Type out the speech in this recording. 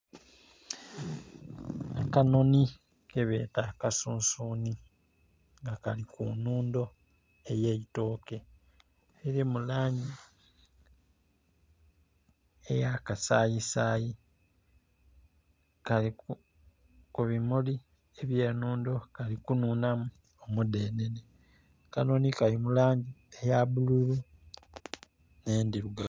Akanoni kebeta akasunsuni nga kali ku nnundo eyeitoke eri mu langi eya kasayi sayi, kali ku bimuli ebye nundo kali kununamu omu dhenene, akanoni kali mu langi eya bululu ne ndhirugavu.